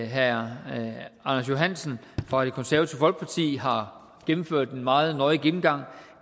herre anders johansson fra det konservative folkeparti har gennemført en meget nøje gennemgang